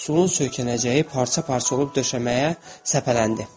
Stulun söykənəcəyi parça-parça olub döşəməyə səpələndi.